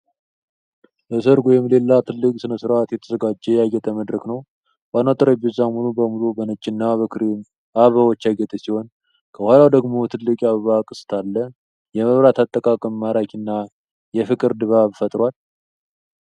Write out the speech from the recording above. ለሠርግ ወይም ለሌላ ትልቅ ሥነ ሥርዓት የተዘጋጀ ያጌጠ መድረክ ነው ። ዋናው ጠረጴዛ ሙሉ በሙሉ በነጭና ክሬም አበባዎች ያጌጠ ሲሆን ፣ ከኋላው ደግሞ ትልቅ የአበባ ቅስት አለ ። የመብራት አጠቃቀም ማራኪና የፍቅር ድባብ ፈጥሯል።